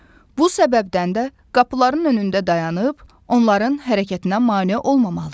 Bu səbəbdən də qapıların önündə dayanıb onların hərəkətinə mane olmamalıyıq.